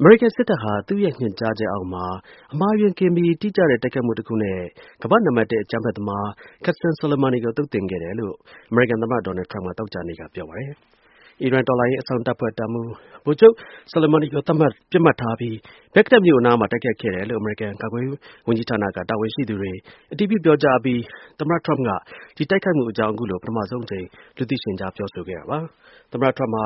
အမေရိကန်စစ်တပ်ဟာ သူ့ရဲ့ ညွှန်ကြားချက်အရ အမှားအယွင်းကင်းပြီး တိကျတဲ့ တိုက်ခိုက်မှုတစ်ခုနဲ့ ကမ္ဘာ့ နံပါတ် ၁ အကြမ်းဖက် သမား Qasem Soleimani ကို သုတ်သင်ခဲ့တယ်လို့ အမေရိကန် သမ္မတ ဒေါ်နယ်ထရမ့်က သောကြာနေ့က ပြောပါတယ်။ အီရန် တော်လှန်ရေး အစောင့်တပ်ဖွဲ့ တပ်မှူး ဗိုလ်ချုပ် Soleimani ကို ပစ်မှတ်ထားပြီး ဘဂ္ဂဒက်မြို့အနားမှာ တိုက်ခိုက်ခဲ့တယ်လို့ အမေရိကန် ကာကွယ်ရေး ဝန်ကြီးဌာနက တာဝန်ရှိသူတွေ အတည်ပြု ပြောကြားအပြီး သမ္မတ ထရမ့်က ဒီ တိုက်ခိုက်မှုအကြောင်း အခုလို ပထမဆုံး အကြိမ် လူသိရှင် ကြား ပြောဆိုတာပါ။ သမ္မတ ထရမ့်က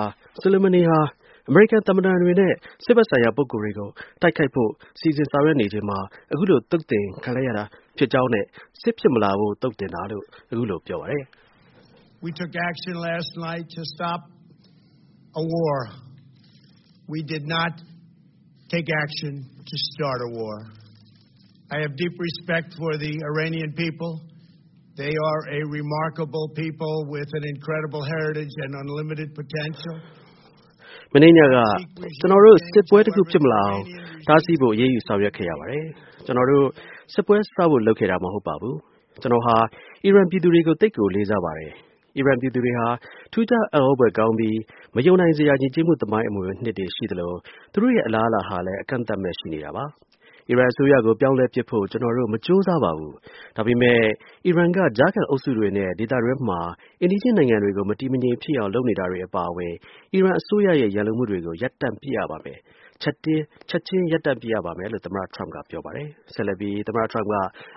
Soleimani ဟာ အမေရိကန် သံတမန်တွေနဲ့ စစ်ဘက်ဆိုင်ရာ ပုဂ္ဂိုလ်တွေကို တိုက်ခိုက်ဖို့ စီစဉ်ဆောင်ရွက်နေချိန်မှာ သုတ်သင်လိုက်တာဖြစ်ကြောင်းနဲ့ စစ်ဖြစ်မလာစေဖို့ အခုလို သုတ်သင်တာလို့ ပြောပါတယ်။ “မနေ့ညက ကျနော်တို့ စစ်ပွဲတခုဖြစ်မလာအောင် တားဆီးဖို့ အရေးယူဆောင်ရွက်ခဲ့ရပါတယ်။ ကျွန်တော်တို့ စစ်ပွဲ စဖို့ လုပ်ခဲ့တာမဟုတ်ပါဘူး။ ကျွန်တော်ဟာ အီရန် ပြည်သူတွေကို သိပ်ကို လေးစားပါတယ်။ အီရန် ပြည်သူတွေဟာ ထူးခြား အံ့သြဖွယ်ကောင်းပြီး မယုံနိုင်စရာ ယဉ်ကျေးမှုသမိုင်း အမွေအနှစ်တွေ ရှိသလို သူတို့ရဲ့ အလားအလာဟာလည်း အကန့်အသတ်မဲ့ ရှိနေပါတယ်။ အီရန် အစိုးရကို ပြောင်းလဲပစ် ဖို့ ကျွန်တော်တို့ မကြိုးစားပါဘူး။ ဒါပေမဲ့ အီရန်ရဲ့ ကြားခံအင်အားစုတွေနဲ့ ဒေသတွင်းနဲ့ အိမ်နီးချင်းနိုင်ငံတွေကို မတည်မငြိမ် ဖြစ်အောင် လုပ်နေတာတွေ အပါအဝင် အီရန် အစိုးရရဲ့ ရန်လိုမှုတွေကို ရပ်တန့်ပစ်ရပါမယ်။ ချက်ချင်း ရပ်တန့်ပစ်ရပါမယ်” လို့ သမ္မတ ထရမ့်က ပြော ပါတယ်။ ဆက်လက်ပြီး သမ္မတ ထရမ့်က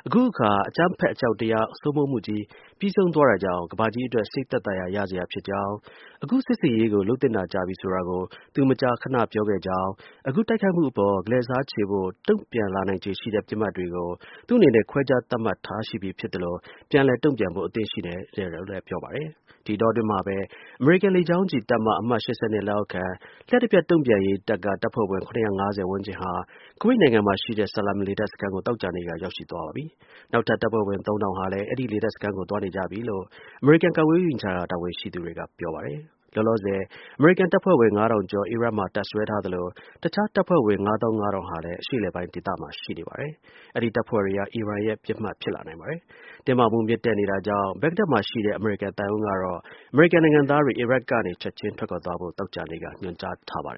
အခုအခါ အကြမ်းဖက်အကြောက်တရားစိုးမိုးမှုကြီး ပြီးဆုံးသွားတာကြောင့် ကမ္ဘာကြီးအတွက် စိတ်သက်သာ ရာ ရစရာဖြစ်ကြောင်း၊ အခု စစ်ဆင်ရေးကို လုပ်သင့်တာ ကြာပြီဆိုတာကို သူ မကြာခဏ ပြောခဲ့ကြောင်း၊ အခုတိုက်ခိုက်မှုအပေါ် ကလဲ့စားချေဖို့ လက်တုံ့ပြန်လာနိုင်ချေရှိတဲ့ ပစ်မှတ်တွေကို သူ့အနေနဲ့ ခွဲခြား သတ်မှတ် သိရှိထားပြီးဖြစ်သလို ပြန်လည် တုံ့ပြန်ဖို့ အသင့်ရှိနေတယ်လို့လည်း ပြောပါတယ်။ ဒီအတောအတွင်းမှာပဲ အမေရိကန် လေကြောင်းချီတပ်မ အမှတ် ၈၂ လက်အောက်ခံ လျှပ်တစ်ပြက် တုံ့ပြန်ရေးတပ် (Immediate Response Force - IRF) က တပ်ဖွဲ့ဝင် ၇၅၀ ဝန်းကျင်ဟာ ကူဝိတ်နိုင်ငံမှာရှိတဲ့ Salem လေတပ်စခန်းကို သောကြာနေ့က ရောက်သွားပါပြီ။ နောက်ထပ် တပ်ဖွဲ့ဝင် ၃,၀၀၀ ဟာလည်း အဲဒီလေတပ်စခန်းကို သွားနေကြပြီလို့အမေရိကန် ကာကွယ်ရေးဝန်ကြီးဌာန တာဝန်ရှိသူတွေက ပြောပါတယ်။ လောလောဆယ်အမေရိကန်တပ်ဖွဲ့ဝင် ၅,၀၀၀ ကျော် အီရတ်မှာတပ်စွဲထားသလို တစ်ခြား တပ်ဖွဲ့ဝင် ၅၅,၀၀၀ ်ဟာ လည်း အရှေ့အလယ်ပိုင်း ဒေသမှာ ရှိနေပါတယ်။ အဲဒီ တပ်ဖွဲ့တွေဟာ အီရန်ရဲ့ ပစ်မှတ်ဖြစ်လာနိုင်ပါတယ်။ တင်းမာမှု မြင့်တက်နေတာကြောင့် ဘဂ္ဂဒက်မှာ ရှိတဲ့ အမေရိကန်သံရုံးကတော့ အမေရိကန်နိုင်ငံသားတွေ အီရတ်ကနေ ချက်ချင်း ထွက်ခွာ သွားကြဖို့ သောကြာနေ့က ညွှန်ကြားထားပါတယ်